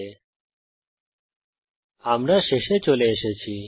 আমরা এই টিউটোরিয়ালের শেষে চলে এসেছি